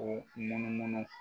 O munumunu